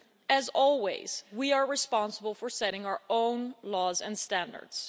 As always, we are responsible for setting our own laws and standards.